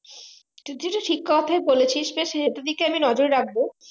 তুই যেহুতু ঠিক কথা বলেছিস তো সেটার দিকে আমি নজর রাখবো